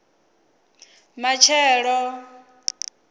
matshelo